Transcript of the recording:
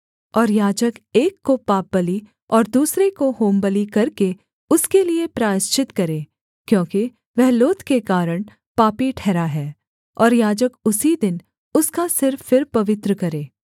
और याजक एक को पापबलि और दूसरे को होमबलि करके उसके लिये प्रायश्चित करे क्योंकि वह लोथ के कारण पापी ठहरा है और याजक उसी दिन उसका सिर फिर पवित्र करे